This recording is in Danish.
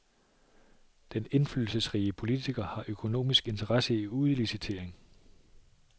Den indflydelsesrige politiker har økonomisk interesse i udlicitering.